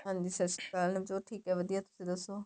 ਹਾਂਜੀ ਸਤਿ ਸ਼੍ਰੀ ਅਕਾਲ ਨਵਜੋਤ ਠੀਕ ਏ ਵਧੀਆ ਤੁਸੀਂ ਦੱਸੋ